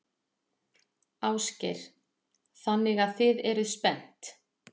Ásgeir: Þannig að þið eruð spennt?